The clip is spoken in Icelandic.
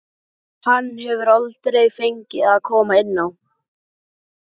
Hann hefur aldrei fengið að koma inn á.